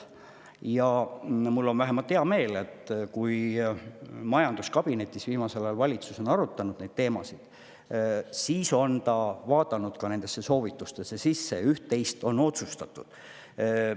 Ja mul on hea meel, et kui valitsus on majanduskabinetis viimasel ajal neid teemasid arutanud, siis on ta vaadanud ka nendesse soovitustesse sisse ja üht-teist on.